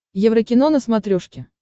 еврокино на смотрешке